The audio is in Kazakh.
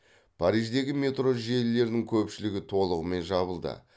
париждегі метро желілерінің көпшілігі толығымен жабылды